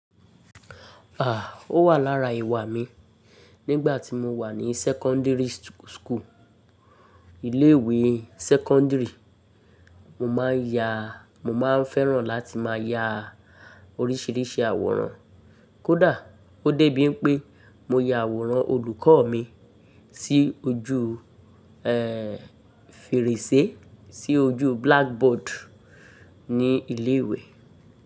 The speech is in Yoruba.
À, ó wà lára ìwà mi nígbà tí mo wà ní secondary school, ilé ìwé secondary. Mo máa ń ya, mo máa ń fẹ́ràn láti máa ya oríṣiríṣi àwòrán. Kódà ó dé bíi pé mo ya àwòrán olùkọ́ mi sí ojú, ẹ́ẹ́, fèrèsé, sí ojú blackboard ní ilé ìwé.